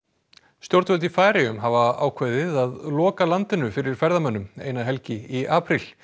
stjórnvöld í Færeyjum hafa ákveðið að loka landinu fyrir ferðamönnum eina helgi í apríl